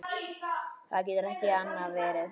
Það getur ekki annað verið.